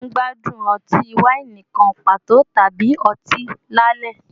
Ṣe o n gbadun ọti-waini kan pato tabi ọti lalẹ?